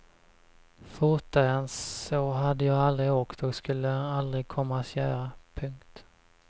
Fortare än så hade jag aldrig åkt och skulle aldrig komma att göra. punkt